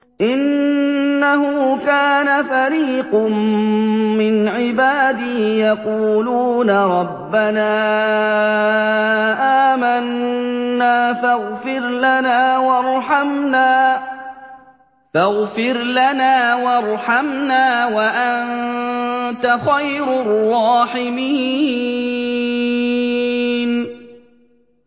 إِنَّهُ كَانَ فَرِيقٌ مِّنْ عِبَادِي يَقُولُونَ رَبَّنَا آمَنَّا فَاغْفِرْ لَنَا وَارْحَمْنَا وَأَنتَ خَيْرُ الرَّاحِمِينَ